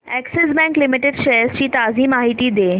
Axis bank limited shares ची ताजी माहिती दे